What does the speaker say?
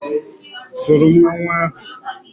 Soro mmanwụ ahụ.